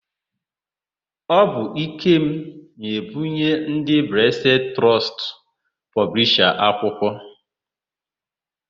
Ọ bụ Ikem na-ebunye ndị Blesed Trọstụ pọblisha akwụkwọ.